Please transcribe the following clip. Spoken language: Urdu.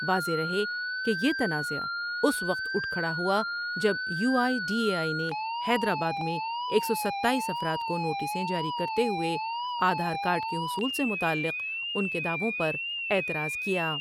واضح رہے کہ یہ تنازعہ اس وقت اٹھ کھڑا ہوا جب U I D A I نے حیدرآباد میں ایک سو ستاییس افرادکونوٹسیں جاری کرتے ہوۓ آدھار کارڈ کے حصول سے متعلق ان کے دعووں پر اعتراض کیا ۔